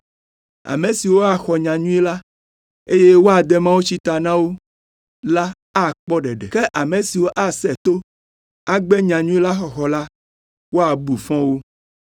Ame siwo axɔ nyanyui la, eye woade mawutsi ta na wo la akpɔ ɖeɖe, ke ame siwo asẽ to, agbe nyanyui la xɔxɔ la, woabu fɔ wo.